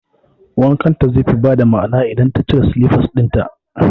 Wankan ta ze fi ba da ma'ana idan ta cire silifas ɗinnan